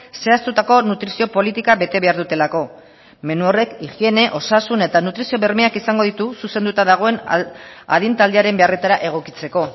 zehaztutako nutrizio politika bete behar dutelako menu horrek higiene osasun eta nutrizio bermeak izango dute zuzenduta dagoen adin taldearen beharretara egokitzeko